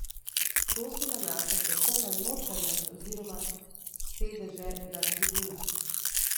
Ta se nanaša predvsem na notranjost oziroma sedeže na tribunah.